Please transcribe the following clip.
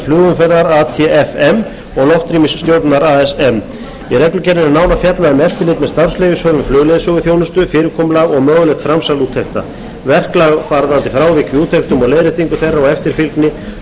flugumferðar atfm og loftrýmisstjórnunar asm í reglugerðinni er nánar fjallað um eftirlit með starfsleyfishöfum flugleiðsöguþjónustu fyrirkomulag og mögulegt framsal úttekta verklag varðandi frávik í úttektum og leiðréttingu þeirra og eftirfylgni auk eftirlits með breytingu á starfsemi leyfisskyldra aðila og endurskoðun á